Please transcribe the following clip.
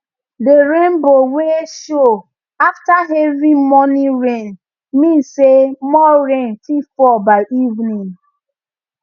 the rainbow wey show after heavy morning rain mean say more rain fit fall by evening